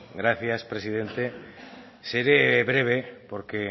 gracias presidente seré breve porque